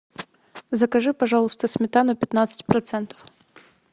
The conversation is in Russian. закажи пожалуйста сметану пятнадцать процентов